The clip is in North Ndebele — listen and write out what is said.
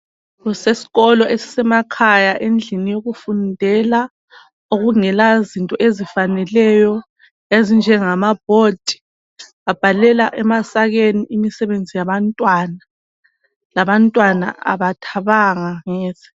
Kuseskolo esisemakhaya endlini yokufundela okungela zinto ezifaneleyo ezinjengama "board" babhalela emasakeni imisebenzi yabantwana, labantwana abathabanga neze.